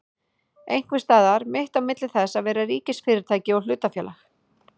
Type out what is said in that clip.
Einhvers staðar mitt á milli þess að vera ríkisfyrirtæki og hlutafélag?